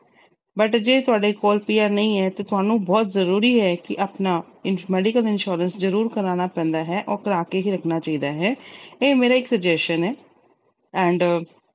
but ਜੇ ਤੁਹਾਡੇ ਕੋਲ PR ਨਹੀਂ ਆ, ਤੁਹਾਨੂੰ ਬਹੁਤ ਜ਼ਰੂਰੀ ਏ ਕਿ ਆਪਣਾ medical insurance ਜ਼ਰੂਰ ਕਰਾਉਣਾ ਪੈਂਦਾ ਹੈ ਤੇ ਉਹ ਕਰਾ ਕੇ ਹੀ ਰੱਖਣਾ ਚਾਹੀਦਾ ਹੈ। ਇਹ ਮੇਰਾ ਇੱਕ suggestion ਹੈ and